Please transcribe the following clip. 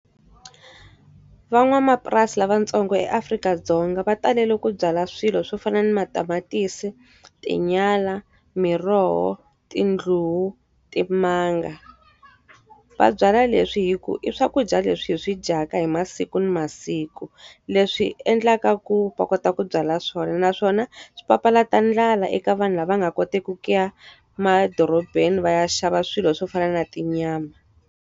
Van'wamapurasi lavatsongo eAfrika-Dzonga va talele ku byala swilo swo fana na matamatisi, tinyala, miroho, tindluwa, timanga. Va byala leswi hikuva i swakudya leswi hi swi dyaka hi masiku na masiku, leswi endlaka ku va kota ku byala swona. Naswona swi papalata ndlala eka vanhu lava nga koteki ku ya madorobeni va ya xava swilo swo fana na tinyama.